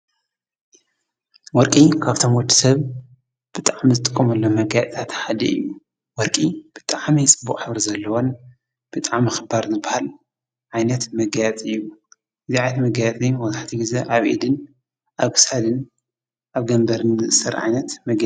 ወርቂ ካብቶም ወዲ ሰብ ብጥዕ ምዝጥቆምሎ መጋያእጻትሓድ እዩ ወርቂ ብጥዓመይ ጽቡቕ ሕብር ዘለወን ብጣ መኽባር ንበሃል ዓይነት መጋያጽ እዩ እግዚኣት መጋያትይ መወልሓቲ ጊዜ ኣብኢድን ኣብሳድን ኣብ ገንበርን ይእሠር።